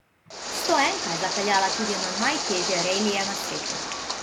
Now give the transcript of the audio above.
Stoenka je zapeljala tudi na najtežje relije na svetu.